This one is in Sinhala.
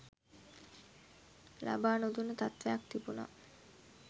ලබා නොදුන්න තත්ත්වයක් තිබුණා.